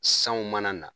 Sanw mana na